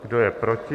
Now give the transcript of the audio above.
Kdo je proti?